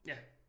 Ja